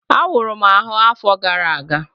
Awuru m ahụ afọ gara aga